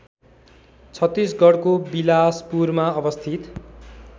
छत्तिसगढको बिलासपुरमा अवस्थित